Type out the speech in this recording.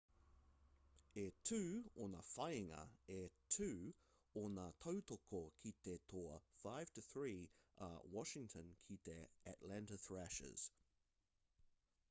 e 2 ōna whāinga e 2 ōna tautoko ki te toa 5-3 a washington ki te atlanta thrashers